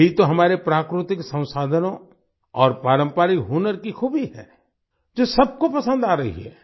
यही तो हमारे प्राकृतिक संसाधनों और पारंपरिक हुनर की खूबी है जो सबको पसंद आ रही है